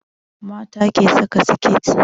Mata ke saka siket